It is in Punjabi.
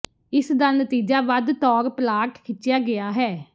ਇਸ ਦਾ ਨਤੀਜਾ ਵੱਧ ਤੌਰ ਪਲਾਟ ਖਿੱਚਿਆ ਗਿਆ ਹੈ